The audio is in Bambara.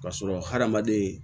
Ka sɔrɔ hadamaden